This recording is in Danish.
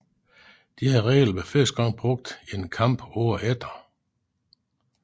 Disse regler blev første gang brugt i en kamp året efter